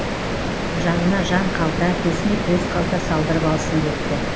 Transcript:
жанына жан калта төсіне төс қалта салдырып алсын депті